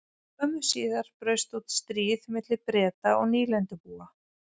Skömmu síðar braust út stríð milli Breta og nýlendubúa.